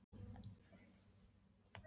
Það var komin grenjandi rigning og